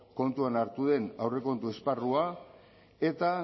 kontuan hartu den aurrekontu esparrua eta